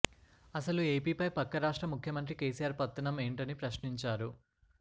అసలు ఏపీపై పక్క రాష్ట్ర ముఖ్యమంత్రి కేసీఆర్ పెత్తనం ఏంటని ప్రశ్నించారు